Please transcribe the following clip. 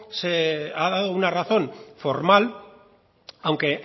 se ha dado una razón formal aunque